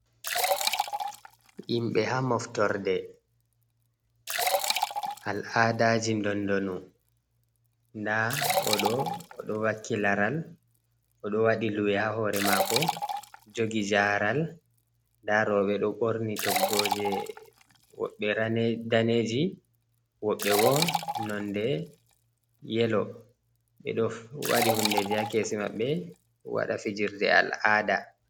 Himɓɓe ha moftorde al aadaji dondonu nda oɗo oɗo vakki laral oɗo waɗi luwi ha hore mako jogi jaral nda roɓɓe ɗo ɓorni toggoje woɓɓe daneji, woɓɓe bo nonde yelo, ɓe ɗo waɗi hundeji ha kesi maɓbe waɗa fijirde al’aada.